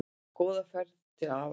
Góða ferð til afa.